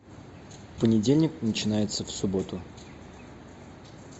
понедельник начинается в субботу